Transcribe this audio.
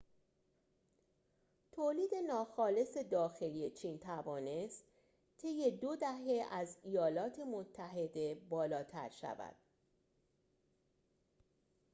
تولید ناخالص داخلی چین توانست طی دو دهه از ایالات متحده بالاتر شود